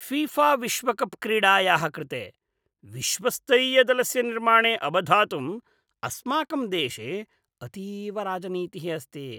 फीफाविश्वकप् क्रीडायाः कृते विश्वस्तरीयदलस्य निर्माणे अवधातुम् अस्माकं देशे अतीव राजनीतिः अस्ति।